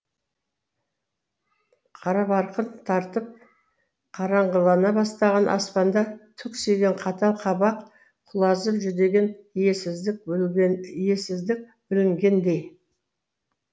қарабарқын тартып қараңғылана бастаған аспанда түксиген қатал қабақ құлазып жүдеген иесіздік білінгендей